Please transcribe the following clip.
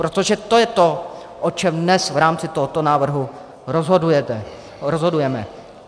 Protože to je to, o čem dnes v rámci tohoto návrhu rozhodujeme.